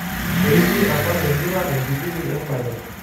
Eimie apa empira ekibini embae.